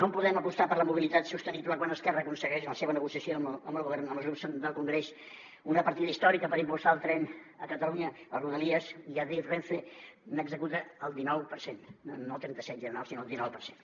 com podem apostar per la mobilitat sostenible quan esquerra aconsegueix en la seva negociació amb el govern amb els grups del congrés una partida històrica per impulsar el tren a catalunya les rodalies i adif renfe n’executa el dinou per cent no el trenta set general sinó el dinou per cent